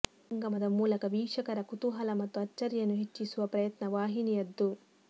ಮಹಾಸಂಗಮದ ಮೂಲಕ ವೀಕ್ಷಕರ ಕುತೂಹಲ ಮತ್ತು ಅಚ್ಚರಿಯನ್ನು ಹೆಚ್ಚಿಸುವ ಪ್ರಯತ್ನ ವಾಹಿನಿಯದ್ದು